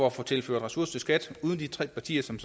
at få tilført ressourcer til skat uden de tre partier som